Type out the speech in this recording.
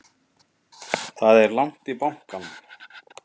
Það er langt í bankann!